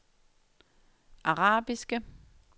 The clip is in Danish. arabiske